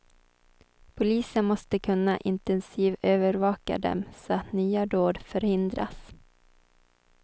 Polisen måste kunna intensivövervaka dem så att nya dåd förhindras.